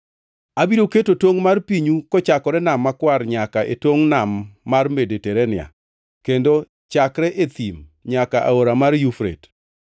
“Abiro keto tongʼ mar pinyu kochakore Nam Makwar nyaka e tongʼ Nam mar Mediterania, kendo chakre e thim nyaka e Aora mar Yufrate.